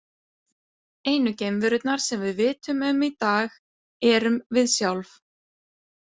Einu geimverurnar sem við vitum um í dag erum við sjálf.